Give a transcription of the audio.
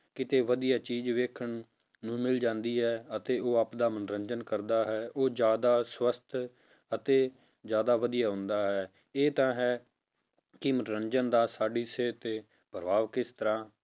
ਕਿਤੇ ਵਧੀਆ ਚੀਜ਼ ਵੇਖਣ ਨੂੰ ਨੂੰ ਮਿਲ ਜਾਂਦੀ ਹੈ ਅਤੇ ਉਹ ਆਪਦਾ ਮਨੋਰੰਜਨ ਕਰਦਾ ਹੈ ਉਹ ਜ਼ਿਆਦਾ ਸਵਸਥ ਅਤੇ ਜ਼ਿਆਦਾ ਵਧੀਆ ਹੁੰਦਾ ਹੈ ਇਹ ਤਾਂ ਹੈ, ਕਿ ਮਨੋਰੰਜਨ ਦਾ ਸਾਡੀ ਸਿਹਤ ਤੇ ਪ੍ਰਭਾਵ ਕਿਸ ਤਰ੍ਹਾਂ